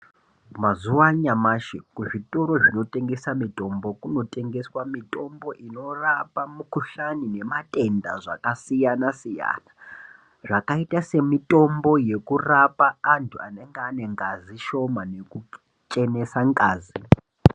Mazuva anyamashi kuzvitoro zvinotengesa mitombo kunotengeswa mitombo inorapa mukuhlani nematenda zvakasiyana-siyana. Zvakaita semitombo yekurapa antu anenge anengazi nekuchenesa ngazi.